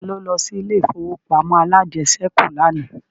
Ta ló lọ sí ilé ìfowópamọ́ alájẹsẹ́kù lánàá